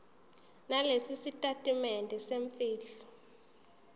nalesi sitatimende semfihlo